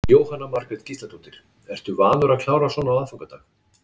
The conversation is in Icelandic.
Jóhanna Margrét Gísladóttir: Ertu vanur að klára svona á aðfangadag?